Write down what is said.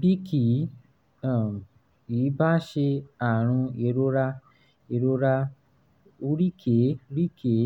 bí kì um í bá ṣe àrùn ìrora ìrora oríkèé-rí-kèé